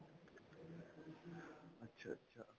ਅੱਛਾ, ਅੱਛਾ.